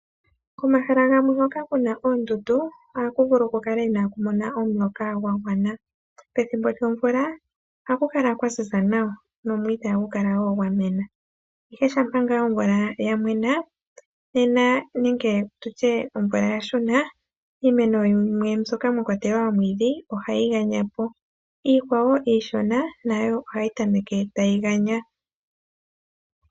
Komahala gamwe ngoka kuna oondundu, ohamuvulu kukale inaakumona omuloka gwagwana. Pethimbo lyomvula ohakukala kwaziza nawa nomwiithi ohagukala woo gwamena, ihe shampa ngaa omvula yamwenaa nena nenge tutyee omvula yashuna iimeno yimwe mbyoka mwakwatelwa omwiidhi, ohayiganyapo iikwawo iishona nayo ohayi tameke tayiganyapo.